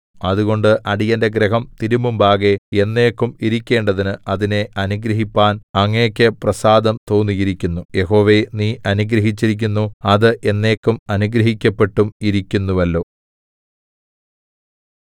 അതുകൊണ്ട് അടിയന്റെ ഗൃഹം തിരുമുമ്പാകെ എന്നേക്കും ഇരിക്കേണ്ടതിന് അതിനെ അനുഗ്രഹിപ്പാൻ അങ്ങയ്ക്ക് പ്രസാദം തോന്നിയിരിക്കുന്നു യഹോവേ നീ അനുഗ്രഹിച്ചിരിക്കുന്നു അത് എന്നേക്കും അനുഗ്രഹിക്കപ്പെട്ടും ഇരിക്കുന്നുവല്ലോ